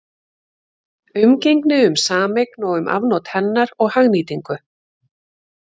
Umgengni um sameign og um afnot hennar og hagnýtingu.